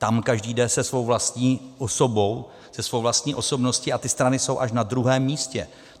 Tam každý jde se svou vlastí osobou, se svou vlastní osobností a ty strany jsou až na druhém místě.